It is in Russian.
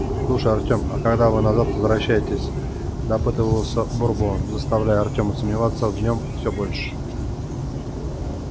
слушай артем а когда вы назад возвращаетесь допытывался бурбон заставляя артема сомневаться в нем все больше